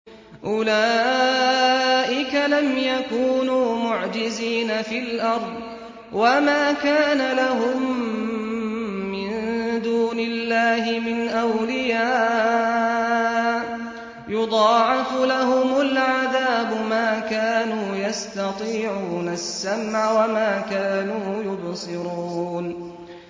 أُولَٰئِكَ لَمْ يَكُونُوا مُعْجِزِينَ فِي الْأَرْضِ وَمَا كَانَ لَهُم مِّن دُونِ اللَّهِ مِنْ أَوْلِيَاءَ ۘ يُضَاعَفُ لَهُمُ الْعَذَابُ ۚ مَا كَانُوا يَسْتَطِيعُونَ السَّمْعَ وَمَا كَانُوا يُبْصِرُونَ